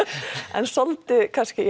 en svolítið kannski